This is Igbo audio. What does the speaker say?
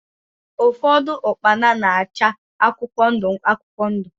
Ụfọdụ ukpana na-acha akwụkwọ ndụ akwụkwọ ndụ.